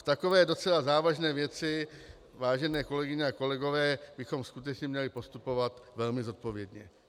V takové docela závažné věci, vážené kolegyně a kolegové, bychom skutečně měli postupovat velmi zodpovědně.